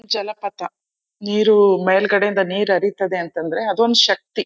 ಜಲಪಾತ ನೀರು ಮೇಲ್ಗಡೆ ಇಂದ ನೀರು ಹರಿತದೆ ಅಂತ ಅಂದ್ರೆ ಅದು ಒಂದ್ ಶಕ್ತಿ.